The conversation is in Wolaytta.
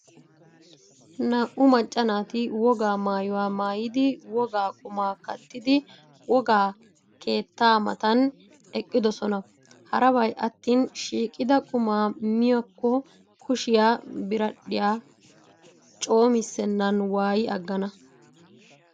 Naa''u macca naati wogaa maayuwaa maayidi, wogo qumaa kattidi, wogaa keettaa matan eqqidoosona. Harabay attain shiiqida qumaa miyaakko kushiyaa biradhdhiyaa coomissennan waayi aggana